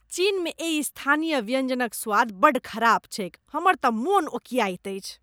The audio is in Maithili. चीनमे एहि स्थानीय व्यंजनक स्वाद बड्ड खराब छैक, हमर तऽ मन ओकियाइत अछि।